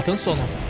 Statın sonu.